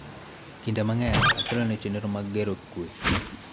Kinde mang�eny, otelo ne chenro mag gero kue,